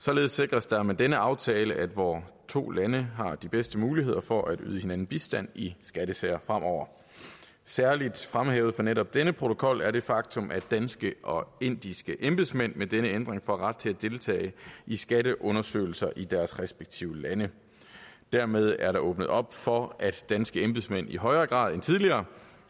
således sikres der med denne aftale at vore to lande har de bedste muligheder for at yde hinanden bistand i skattesager fremover særlig fremhævet fra netop denne protokol er det faktum at danske og indiske embedsmænd med denne ændring får ret til at deltage i skatteundersøgelser i deres respektive lande dermed er der åbnet op for at danske embedsmænd i højere grad end tidligere